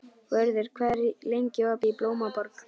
Vörður, hvað er lengi opið í Blómaborg?